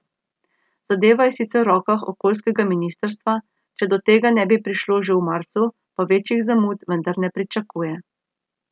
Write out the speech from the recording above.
Zadeva je sicer v rokah okoljskega ministrstva, če do tega ne bi prišlo že v marcu, pa večjih zamud vendar ne pričakuje.